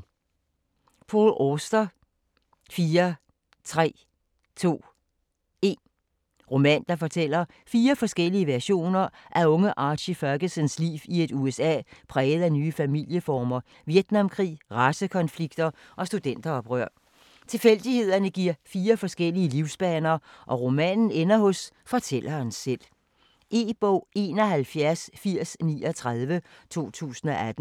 Auster, Paul: 4 3 2 1 Roman, der fortæller fire forskellige versioner af unge Archie Fergusons liv i et USA præget af nye familieformer, Vietnamkrig, racekonflikter og studenteroprør. Tilfældigheder giver fire forskellige livsbaner, og romanen ender hos fortælleren selv. E-bog 718039 2018.